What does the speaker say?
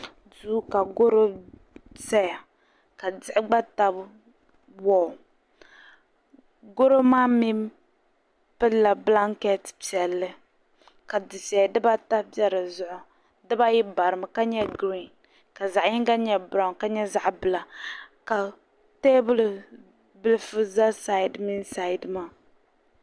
Duu ka gɔro zaya ka diɣi gba tabi dikpini gɔro maa mi pilila bilanketi piɛlli ka dufiɛya dibaata be di zuɣu dibaayi barimi ka nyɛ girin ka zaɣ' yiŋga nyɛ biraun ka nyɛ zaɣ' bila ka teebuli bilifu za saidi mini saidi maa.